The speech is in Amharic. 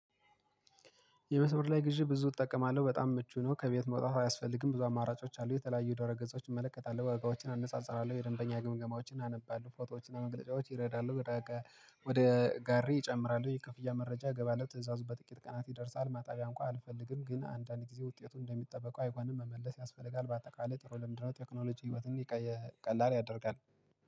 የመስመር ላይ ግዢ ብዙ እጠቀማለሁ በጣም ምቹ ነው ከቤት መውጣት አያስፈልግም ብዙ አማራጮች አሉ የተለያዩ ደረገጾችን እመለከታለሁ ወጋዎችን አነጻጽራለሁ የደንበኛ ግምገማዎችን አነባለሁ ፎቶዎችን እና መግለጫዎችን ይረዳሉ። ወደ ጋሪ ይጨምራሉ የክፍያ መረጃ ገባለው ትእዛዙ በጥቂት ቀናት ይደርሳል ማጣቢያ እንኳን አልፈልግም ግን አንዳንድ ጊዜ ውጤቱን እንደሚጠበቀው አይሆንም መመለስ ያስፈልጋል። በአጠቃላይ ጥሩ ልምንድ ነው። ቴክኖሎጂ ህይወትን ቀላል ያደርጋል።